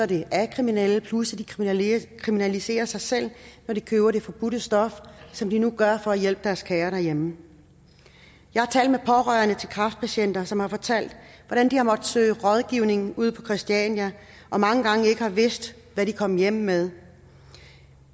det af kriminelle plus at de kriminaliserer sig selv når de køber det forbudte stof som de nu gør for at hjælpe deres kære derhjemme jeg har talt med pårørende til kræftpatienter som har fortalt hvordan de har måttet søge rådgivning ude på christiania og mange gange ikke har vidst hvad de kom hjem med